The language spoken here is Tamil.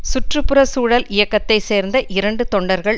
சுற்று புற சூழல் இயக்கத்தை சேர்ந்த இரண்டு தொண்டர்கள்